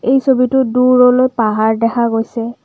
এই ছবিতো দূৰলৈ পাহাৰ দেখা গৈছে।